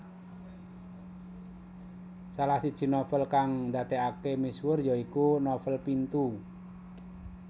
Salah siji novel kang ndadèkaké misuwur ya iku novèl Pintu